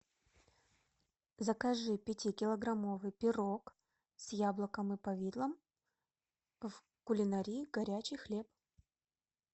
закажи пятикилограммовый пирог с яблоком и повидлом в кулинарии горячий хлеб